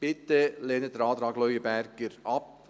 Bitte lehnen Sie den Antrag Leuenberger ab.